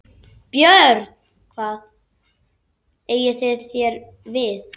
BJÖRN: Hvað eigið þér við?